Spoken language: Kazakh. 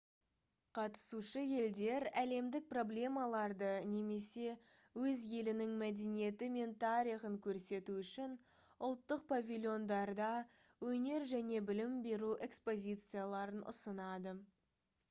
қатысушы елдер әлемдік проблемаларды немесе өз елінің мәдениеті мен тарихын көрсету үшін ұлттық павильондарда өнер және білім беру экспозицияларын ұсынады